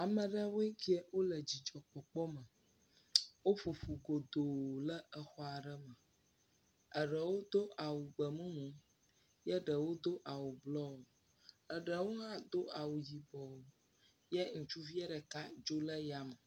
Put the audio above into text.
Ame aɖewoe keɛ wole dzidzɔ kpɔkpɔ me. Woƒo ƒu gloto ɖe exɔ aɖe me. Ɖewo do awu gbe mumu eye ɖewo do awu bluo. Eɖewo hã do awu yibɔ eye ŋutsuvie ɖeka dzo le yame